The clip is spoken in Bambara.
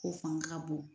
O fanga ka bon